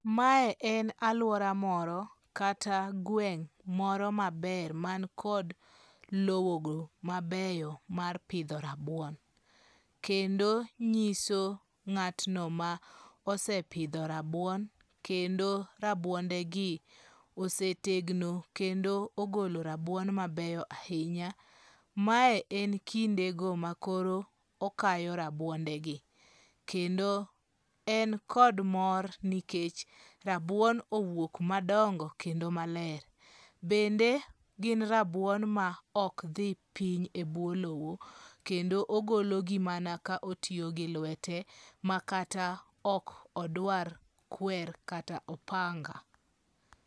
Mae en aluora moro kata gweng' moro maber man kod lowogo mabeyo mar pidho rabuon. Kendo nyiso ng'atno ma osepidho rabuon, kendo rabuondegi osetegno kendo ogolo rabuon mabeyo ahinya. Mae en kindego makoro okayo rabuondegi. Kendo en kod mor nikech rabuon owuok madongo kendo maler. Bende gin rabuon maok dhi piny ebwo lowo, kendo ogologi mana ka otiyo gi lwete makata ok odwar kwer kata opanga.